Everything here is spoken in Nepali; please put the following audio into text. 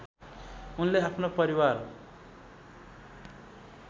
उनले आफ्नो परिवार